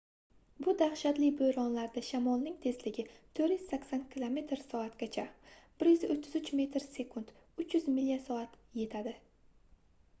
bu dahshatli bo'ronlarda shamolning tezligi 480 km/soatgacha 133 m/s; 300 milya/soat yetadi